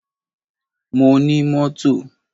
Mo ní mọ́tò.